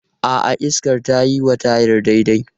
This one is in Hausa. A'a, iskar tayi wa tayar daidai.